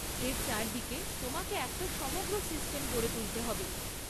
এর চারদিকে তোমাকে একটা সমগ্র সিস্টেম গড়ে তুলতে হবে।